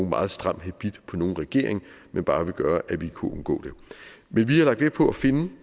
meget stram habit på nogen regering men bare vil gøre at vi kunne undgå det men vi har lagt vægt på at finde